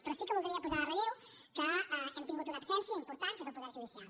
però sí que voldria posar en relleu que hem tingut una absència important que és el poder judicial